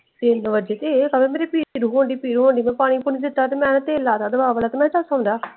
ਤਿੰਨ ਵਜੀ ਤੇ ਇਹ ਕਵੇ ਮੇਨੂ ਪੀੜ ਸ਼ੁਰੂ ਹੋਣ ਡਈ ਮੇਰੇ ਪੀੜ ਹੋਣ ਡਈ ਮੈਂ ਪਾਣੀ ਪੂਣੀ ਦਿੱਤਾ ਤੇ ਮੈਂ ਨਾ ਤੇਲ ਲਾ ਤਾ ਦਵਾ ਵਾਲਾ ਤੇ ਮੈਂ ਕਿਹਾ ਸੋਂ ਜਾ।